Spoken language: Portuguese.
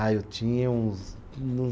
Ah, eu tinha uns